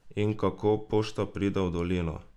In kako pošta pride v dolino?